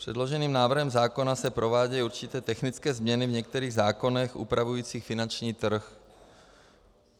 Předloženým návrhem zákona se provádějí určité technické změny v některých zákonech upravujících finanční trh.